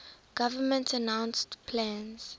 government announced plans